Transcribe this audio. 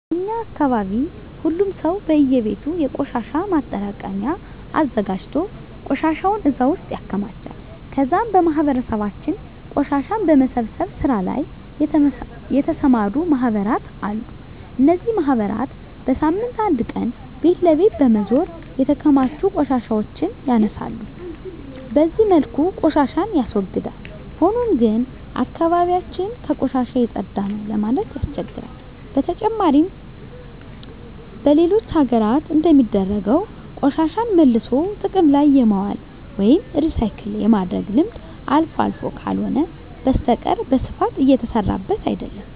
በእኛ አካባቢ ሁሉም ሰው በእየቤቱ የቆሻሻ ማጠራቀሚያ አዘጋጅቶ ቆሻሻውን እዛ ውስጥ ያከማቻል ከዛም በማህበረሰባችን ቆሻሻን በመሰብሰብ ስራ ላይ የተሰማሩ ማህበራት አሉ። እነዚህ ማህበራት በሳምንት አንድ ቀን ቤት ለቤት በመዞር የተከማቹ ቆሻሻዎችን ያነሳሉ። በዚህ መልኩ ቆሻሻን ያስወግዳል። ሆኖም ግን አካባቢ ያችን ከቆሻሻ የፀዳ ነው ለማለት ያስቸግራል። በተጨማሪም በሌሎች ሀገራት እንደሚደረገው ቆሻሻን መልሶ ጥቅም ላይ የማዋል ወይም ሪሳይክል የማድረግ ልምድ አልፎ አልፎ ካልሆነ በስተቀረ በስፋት እየተሰራበት አይደለም።